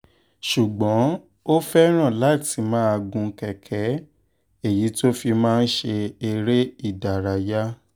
ṣùgbọ́n ó fẹ́ràn láti máa gun kẹ̀kẹ́ èyí tó fi máa ń ṣe eré ìdárayá